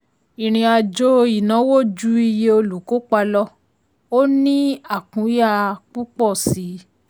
ìrìnàjò ìnáwó ju iye olùkópa lọ; ó ní àkúnya púpọ̀ síi.